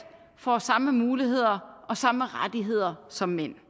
får samme muligheder og samme rettigheder som mænd